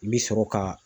I bi sɔrɔ ka